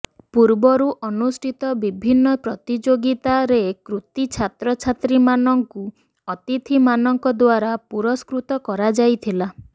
ପୂର୍ବରୁ ଅନୁଷ୍ଠିତ ବିଭିନ୍ନ ପ୍ରତିଯୋଗିତା ରେ କୃତି ଛାତ୍ର ଛାତ୍ରୀ ମାନଙ୍କୁ ଅତିଥି ମାନଙ୍କ ଦ୍ବାରା ପୁରସ୍କୃତ କରାଯାଇଥିଲା